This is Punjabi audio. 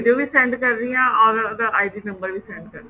send ਕਰ ਰਹੀ ਆ or ਉਹਦਾ ID number ਵੀ send ਕਰ ਰਹੀ ਆ